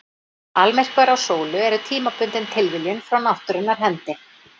Almyrkvar á sólu eru tímabundin tilviljun frá náttúrunnar hendi.